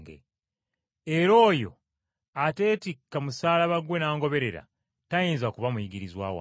Era oyo ateetikka musaalaba gwe n’angoberera, tayinza kuba muyigirizwa wange.